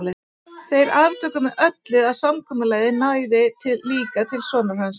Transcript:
En þeir aftóku með öllu að samkomulagið næði líka til sonar hans.